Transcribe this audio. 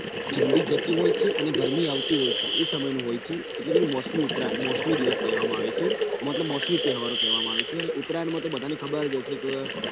ઠંડી જતી હોય છે અને ગરમી આવતી હોય છે એ સમયનું હોય છે એટલે કે મોસમી ઉત્તરાયણ એટલે મોસમી તહેવારો કહેવામાં આવે છે ઉત્તરાયણમાં તો બધાને ખબર હોય છે